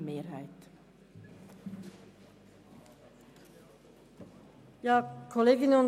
Auf die Verschiebung an die Gemeinden ist zu verzichten.